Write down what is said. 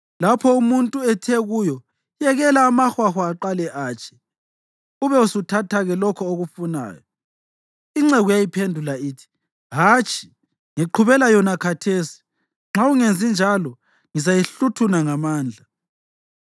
Lapho umuntu ethe kuyo, “Yekela amahwahwa aqale atshe, ube usuthathake lokho okufunayo,” inceku yayiphendula ithi, “Hatshi, ngiqhubela yona khathesi; nxa ungenzi njalo, ngizayihluthuna ngamandla.”